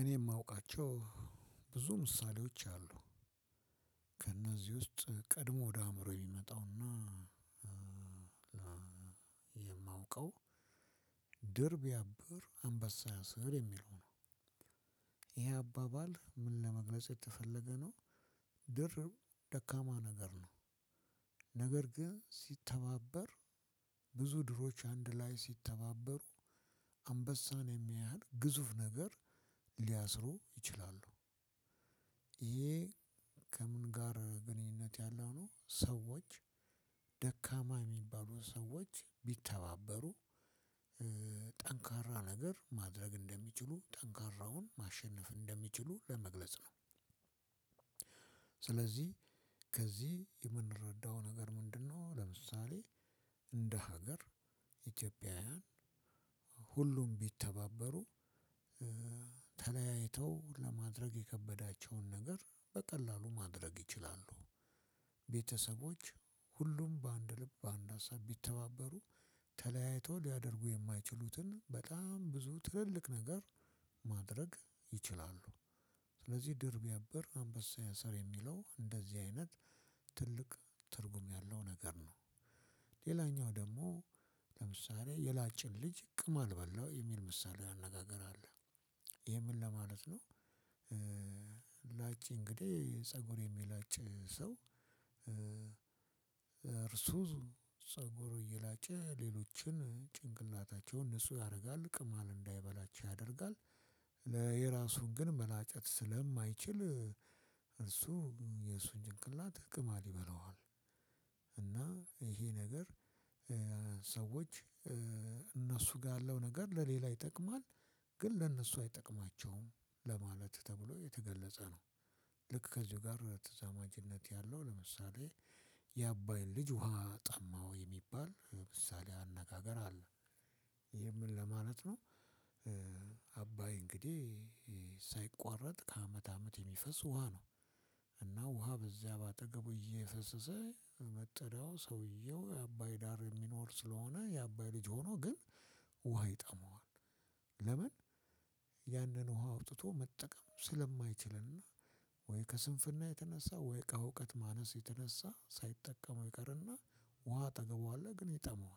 እኔ የማውቃቸው ብዙ ምሳሌዎች አሉ። ከእነዚህ ውስጥ ቀድሞ ወደ አእምሮ የሚመጣውና የማውቀው ድርብ ቢያብር አንበሳ ያስር የሚለው ነው። ይሄ አባባል ምን ለመግለጽ የተፈለገ ነው? ድር ደካማ ነገር ነው። ነገር ግን ሲተባበር ብዙ ድሮች አንድ ላይ ሲተባበሩ አንበሳን የሚያህል ግዙፍ ነገር ሊያስሩ ይችላሉ። ይሄ ከምን ጋር ግንኙነት ያለው ነው? ሰዎች ደካማ የሚባሉ ሰዎች ቢተባበሩ ጠንካራ ነገር ማድረግ እንደሚችሉ ጠንካራውን ማሸነፍ እንደሚችሉ ለመግለጽ ነው። ስለዚህ ከዚህ የምንረዳው ነገር ምንድነው? ለምሳሌ እንደ ሀገር ኢትዮጵያውያን ሁሉም ቢተባበሩ ተለያይተው ለማድረግ የከበዳቸውን ነገር በቀላሉ ማድረግ ይችላሉ። ቤተሰቦች ሁሉም በአንድ ልብ በአንድ ሀሳብ ቢተባበሩ ተለያይተው ሊያደርጉ የማይችሉትን በጣም ብዙ ትልልቅ ነገር ማድረግ ይችላሉ። ስለዚህ ድርብ ቢያበር አንበሳ ያስር የሚለው እንደዚህ አይነት ትልቅ ትርጉም ያለው ነገር ነው። ሌላኛው ደግሞ ለምሳሌ የላጭን ልጅ ቅማል በላው የሚል ምሳሌያዊ አነጋገር አለ። ይሄ ምን ለማለት ነው? ላጭ እንግዲህ ፀጉር የሚላጭ ሰው እርሱ ፀጉር እየላጨ ሌሎችን ጭንቅላታቸውን ንጹህ ያደርጋል ቅማል እንዳይበላቸው ያደርጋል። የራሱን ግን መላጨት ስለማይችል እርሱ የእርሱን ጭንቅላት ቅማል ይበላዋል። እና ይሄ ነገር ሰዎች እነሱ ጋር ያለው ነገር ለሌላ ይጠቅማል። ግን ለ እነሱ አይጠቅማቸውም ለማለት ተብሎ የተገለፀ ነው። ልክ ከዚሁ ጋር ተዛማጅነት ያለው ለምሳሌ የ አባይን ልጅ ውሃ ጠማው የሚባል ምሳሌአዊ አነጋገር አለ። ይሄ ምን ለማለት ነው? አባይ እንግዲህ ሳይቋረጥ ከአመት አመት የሚፈስ ውሃ ነው። እና ውሃ በዚያ በአጠገቡ እየፈሰሰ መጠሪያው ሰውየው የአባይ ዳር የሚኖር ስለሆነ የአባይ ልጅ ሆኖ ግን ውሃ ይጠማዋል። ለምን? ያንን ውሃ አውጥቶ መጠቀም ስለማይችል ከስንፍና የተነሳ ወይ ከእውቀት ማነስ የተነሳ ሳይጠቀሙ ይቀርና ውሃ አጠገቡ አለ ግን ይጠማዋል።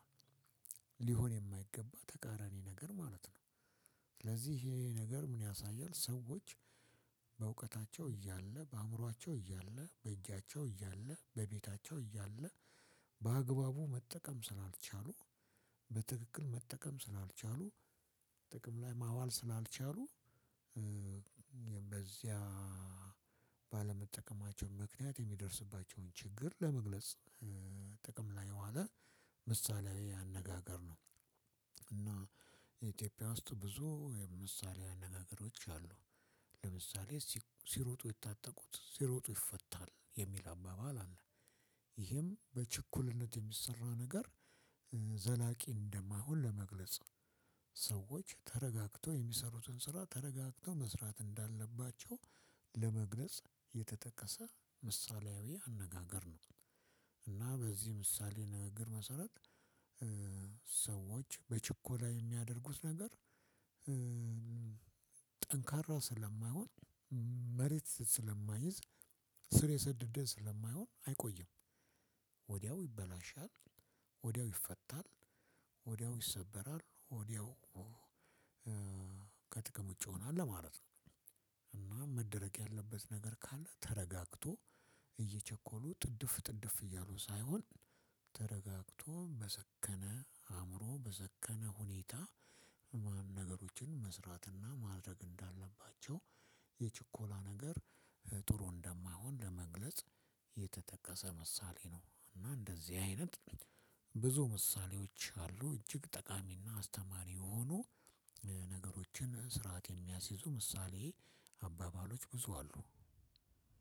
ሊሆን የማይገባ ተቃራኒ ነገር ማለት ነው። ስለዚህ ይሄ ነገር ምን ያሳያል? ሰዎች በእውቀታቸው እያለ በአእምሯቸው እያለ በእጃቸው እያለ በቤታቸው እያለ በአግባቡ መጠቀም ስላልቻሉ በትክክል መጠቀም ስላልቻሉ ጥቅም ላይ ማዋል ስላልቻሉ። በዚያ ባለመጠቀማቸው ምክንያት የሚደርስባቸውን ችግር ለመግለጽ ጥቅም ላይ የዋለ ምሳሌያዊ አነጋገር ነው። እና የኢትዮጵያ ውስጥ ብዙ ምሳሌአዊ አነጋገሮች አሉ። ለምሳሌ ሲሮጡ የታጠቁት ሲሮጡ ይፈታል የሚል አባባል አለ። ይሄም በችኩልነት የሚሰራ ነገር ዘላቂ እንደማይሆን ለመግለጽ ሰዎች ተረጋግተው የሚሰሩትን ስራ ተረጋግተው መስራት እንዳለባቸው ለመግለጽ የተጠቀሰ ምሳሌያዊ አነጋገር ነው። እና በዚህ ምሳሌ ንግግር መሰረት ሰዎች በችኮላ የሚያደርጉት ነገር ጠንካራ ስለማይሆን መሬት ስለማይዝ ስር የሰደደ ስለማይሆን አይቆይም። ወዲያው ይበላሻል ወዲያው ይፈታል ወዲያው ይሰበራል ወዲያው ከጥቅም ውጪ ይሆናል ለማለት ነው። እና መደረግ ያለበት ነገር ካለ ተረጋግቶ እየቸኮሉ ጥድፍ ጥድፍ እያሉ ሳይሆን ተረጋግቶ በሰከነ አእምሮ በሰከነ ሁኔታ ነገሮች መስራትና ማድረግ እንዳለባቸው የችኮላ ነገር ጥሩ እንደማይሆን ለመግለጽ የተጠቀሰ ምሳሌ ነው። እና እንደዚህ አይነት ብዙ ምሳሌዎች አሉ እጅግ ጠቃሚና አስተማሪ የሆኑ ነገሮችን ስርዓት የሚያስይዙ ምሳሌ አባባሎች ብዙ አሉ።